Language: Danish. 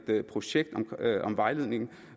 projekt om vejledningen